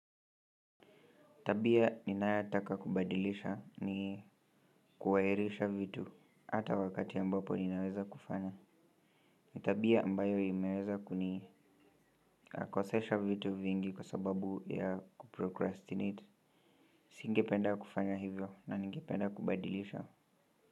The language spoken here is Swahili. Tabia ninayotaka kubadilisha ni kuwairisha vitu hata wakati ambapo ninaweza kufanya ni tabia mbayo imeweza kuni nakosesha vitu vingi kwa sababu ya kuprocrastinate. Singependa kufanya hivyo na ningependa kubadilisha.